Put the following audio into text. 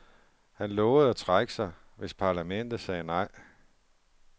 Han lovede at trække sig, hvis parlamentet sagde nej.